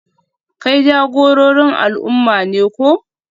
Kai jagororin al'umma ne ko?